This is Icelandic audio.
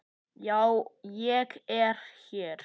Já, ég er hér.